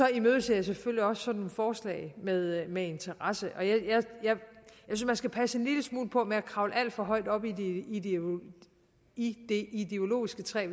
jeg selvfølgelig også sådan et forslag med med interesse og jeg synes man skal passe en lille smule på med at kravle alt for højt op i i det ideologiske træ